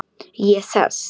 Ég sest.